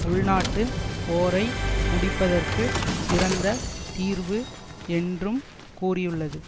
உள்நாட்டுப் போரை முடிப்பதற்கு சிறந்த தீர்வு என்றும் கூறியுள்ளது